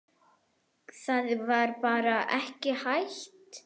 Það var bara ekki hægt.